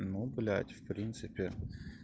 ну блять в принципе